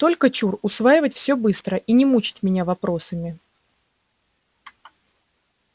только чур усваивать все быстро и не мучить меня вопросами